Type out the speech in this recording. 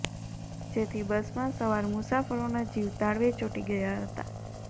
જેથી બસમાં સવાર મુસાફરોના જીવ તાળવે ચોંટી ગયા હતા